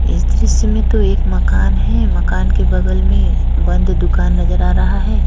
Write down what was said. इस दृश्य में तो एक मकान है मकान के बगल में बंद दुकान नजर आ रहा है।